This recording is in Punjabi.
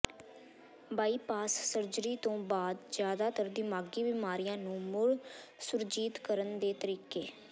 ਬਾਇਪਾਸ ਸਰਜਰੀ ਤੋਂ ਬਾਅਦ ਜ਼ਿਆਦਾਤਰ ਦਿਮਾਗੀ ਬੀਮਾਰੀਆਂ ਨੂੰ ਮੁੜ ਸੁਰਜੀਤ ਕਰਨ ਦੇ ਤਰੀਕੇ